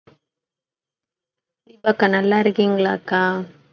தீபா அக்கா நல்லா இருக்கீங்களாக்கா